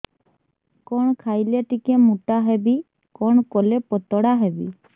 କଣ ଖାଇଲେ ଟିକେ ମୁଟା ହେବି କଣ କଲେ ପତଳା ହେବି